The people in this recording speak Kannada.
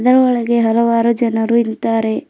ರೋ ಒಳಗೆ ಹಲವಾರು ಜನರು ಇಂತಾರೆ.